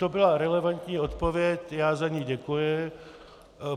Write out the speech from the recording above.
To byla relevantní odpověď, já za ni děkuji.